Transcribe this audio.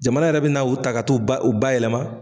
Jamana yɛrɛ bɛ bɛna' u ta ka taa u ba u ba yɛlɛma.